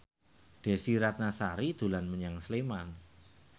Desy Ratnasari dolan menyang Sleman